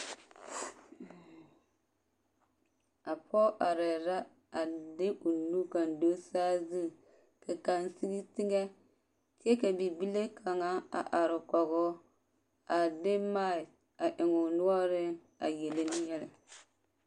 A pɔge arɛɛ la a de o nu kaŋ do saazu ka kaŋ sigi teŋɛ kyɛ ka bibile kaŋa a are kɔgoo a de maki a eŋ o noɔreŋ a yele ne yɛlɛ.